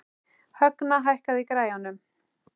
Högna, hækkaðu í græjunum.